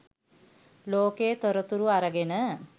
ලෝකයේ තොරතුරු අරගෙන